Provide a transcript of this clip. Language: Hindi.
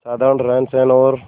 साधारण रहनसहन और